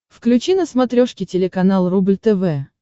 включи на смотрешке телеканал рубль тв